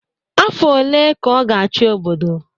Afọ one ka ọ ga-achị obodo?